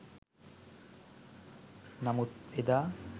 නමුත් එදා